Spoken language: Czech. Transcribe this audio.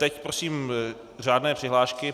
Teď prosím řádné přihlášky.